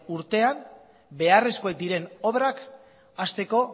urtean beharrezkoak diren obrak hasteko